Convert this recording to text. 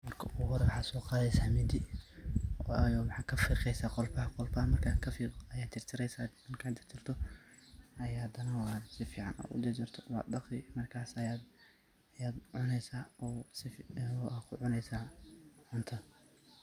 Marka ogu hore waxaad soo qadeysa mindi, wayo weaxaad kafiiqeysa qolfaham, qolfaha markad kafiiqdo ayad jarjareysa, markad jarjarto ayad hadana ad si fican ujarjarto wad dhaqi markas ayad cuneysa oo sifican ad kucuneysa cunta.